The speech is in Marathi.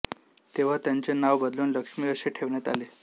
तेव्हा त्यांचे नाव बदलून लक्ष्मी असे ठेवण्यात आले